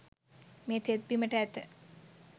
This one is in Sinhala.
මේ තෙත් බිමට ඇත